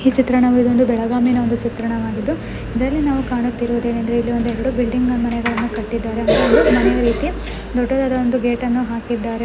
ಈ ಚಿತ್ರಣವನ್ನುಇದು ಒಂದು ಬೆಳಗಾವಿನ ಚಿತ್ರ ಆಗಿದ್ದು ಇಲ್ಲಿ ನಾವು ಕಾಣುತ್ತಿರುವುದೇನೆಂದರೆ ಇಲ್ಲಿ ಎರಡು ಬಿಲ್ಡಿಂಗನ್ನು ಮನೆಗಳನ್ನುಕಟ್ಟಿದಾರೆ ಮಲಗಲಿಕ್ಕೆ ದೊಡ್ಡದಾದ ಒಂದು ಗೇಟ್ ಹಾಕಿದ್ದಾರೆ.